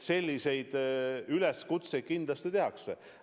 Selliseid üleskutseid kindlasti tehakse.